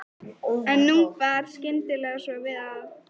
En nú bar skyndilega svo við að